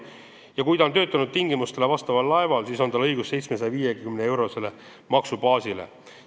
Ja kui ta on töötanud tingimustele vastaval laeval, siis on tal õigus 750-eurosele maksubaasile.